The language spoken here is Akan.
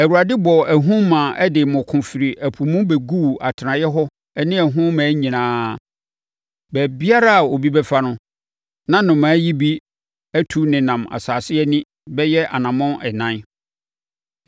Awurade bɔɔ ahum maa ɛde mmoko firi ɛpo mu bɛguu atenaeɛ hɔ ne ɛho mmaa nyinaa. Baabiara a obi bɛfa no, na nnomaa yi bi atu nenam asase ani bɛyɛ anammɔn ɛnan.